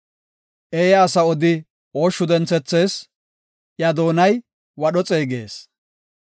Eeya asa odi ooshshu denthethees; iya doonay wadho xeegees.